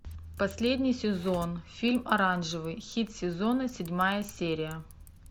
последний сезон фильм оранжевый хит сезона седьмая серия